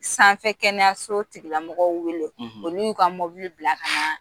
Sanfɛ kɛnɛyaso tigilamɔgɔw weele olu y'u ka bila ka na.